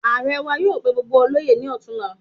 Emir wà yóò pé gbogbo oloye ní ọtunla